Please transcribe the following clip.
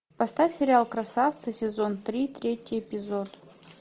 поставь сериал красавцы сезон три третий эпизод